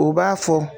U b'a fɔ